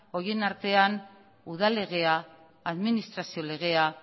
horien artean udal legea administrazio legea